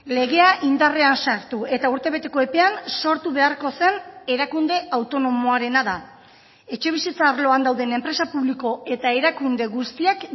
legea indarrean sartu eta urtebeteko epean sortu beharko zen erakunde autonomoarena da etxebizitza arloan dauden enpresa publiko eta erakunde guztiak